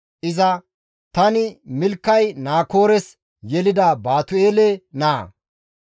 Iza, «Tani Milkay Naakoores yelida Baatu7eele naa.